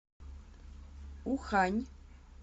ухань